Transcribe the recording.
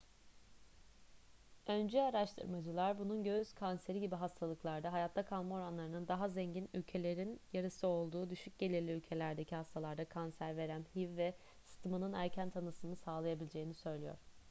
öncü araştırmacılar bunun göğüs kanseri gibi hastalıklarda hayatta kalma oranlarının daha zengin ülkelerin yarısı olduğu düşük gelirli ülkelerdeki hastalarda kanser verem hiv ve sıtmanın erken tanısını sağlayabileceğini söylüyor